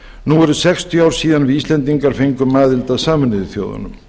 nú eru sextíu ár síðan við íslendingar fengum aðild að sameinuðu þjóðunum